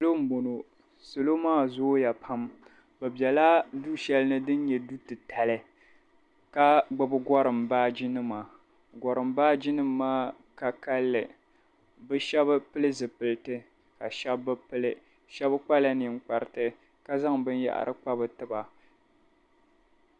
Salo m-bɔŋɔ. Salo maa zooya pam bɛ bela du' shɛli ni din nyɛ du' titali ka gbibi gɔrim baajinima. Gɔrim baajinima maa ka kalinli. Bɛ shɛba pili zipiliti ka shɛba bi pili. Shɛba kpala niŋkpariti ka zaŋ binyɛhari kpa bɛ tiba.